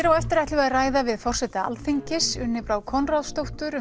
á eftir ætlum við að ræða við forseta Alþingis Unni Brá Konráðsdóttur um